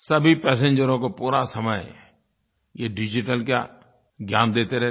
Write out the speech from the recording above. सभी पैसेंजरों को पूरा समय ये डिजिटल का ज्ञान देते रहते हैं